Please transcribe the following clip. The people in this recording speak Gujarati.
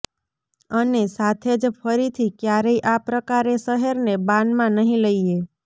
અને સાથે જ ફરીથી ક્યારેય આ પ્રકારે શહેરને બાનમાં નહીં લઈએ